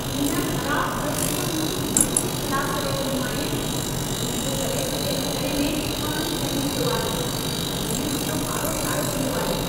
हिन ख़राब फ़्रिज त मुंहिंजू मतियूं ई ख़लास करे छॾियूं आहिनि। इन जे करे सॼे रंधिणे में पाणी फहिलिजी वियो आहे, जंहिं मुंहिंजो पारो चाढ़े छॾियो आहे।